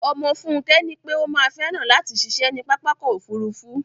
Ọmọ Fúnkẹ́ nípé ó má fẹ́ràn látì ṣiṣé ní pápákọ̀ ofúrufú